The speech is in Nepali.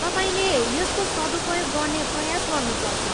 तपाईँले यसको सदुपयोग गर्ने प्रयास गर्नुपर्छ।